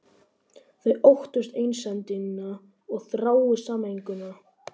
Þau óttist einsemdina og þrái sameininguna.